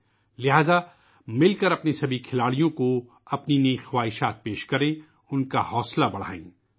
اس لئے آئیے مل کر اپنے تمام کھلاڑیوں کو اپنی نیک خواہشات پیش کریں، ملک کا حوصلہ بڑھائیں